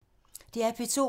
DR P2